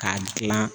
K'a gilan